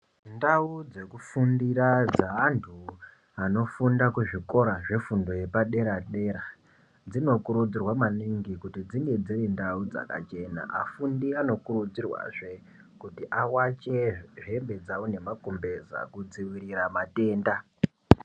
Ndau dzekufundira dzeanthu anofunda kuzvikora zvefundo yepadera dera dzinokurudzirwa maningi kuti dzinge dziri ndau dzakachena afundi anokurudzirwazve kuti awache hembe dzao nemakumbeza kudziirira matenda.